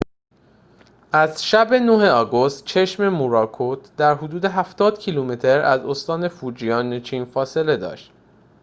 از شب ۹ آگوست چشم موراکوت در حدود هفتاد کیلومتر از استان فوجیان چین فاصله داشت